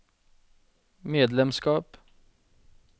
medlemskap